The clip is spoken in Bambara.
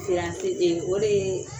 Siran tɛ den o dee